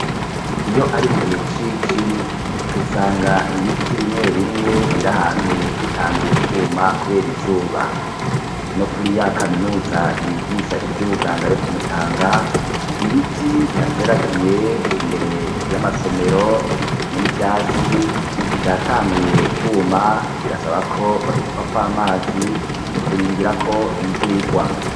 Iyo ari mu gihe cici usanga ibiti bimwe bimwe biri ahantu bitanguye kwuma kubera izuba no kuri ya kaminuza yigisha ivy'ubuganga yo kumutanga ibiti bihateragiye imbere y'amasomero hamwe n'ivyatsi vyatanguye kwuma birasaba ko babisukako amazi mu kurindira ko imvura igwa.